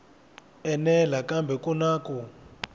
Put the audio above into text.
enela kambe ku na ku